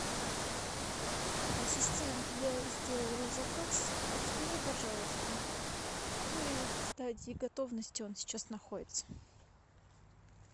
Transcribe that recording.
ассистент я сделала заказ подскажи пожалуйста в какой стадии готовности он сейчас находится